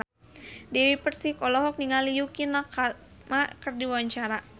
Dewi Persik olohok ningali Yukie Nakama keur diwawancara